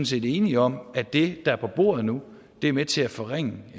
set enige om at det der er på bordet nu er med til at forringe